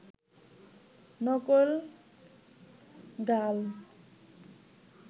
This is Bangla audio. নকল গাল